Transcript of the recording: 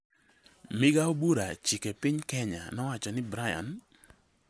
Migao bura Chike piny Kenya nowacho ni Brian